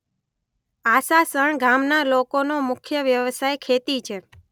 આસાસણ ગામના લોકોનો મુખ્ય વ્યવસાય ખેતી છે